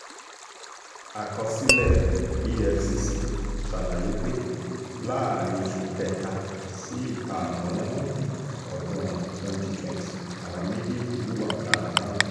àkọsílẹ̀ efcc ṣàlàyé pé láàrin oṣù kẹta sí ìkarùn-n ọdún twenty twenty làwọn méjèèjì wúwá ọ̀daràn náà